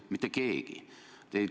Mitte keegi!